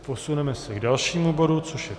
Posuneme se k dalšímu bodu, což je